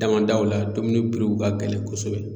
Damadaw la domini piri ka gɛlɛn kosɛbɛ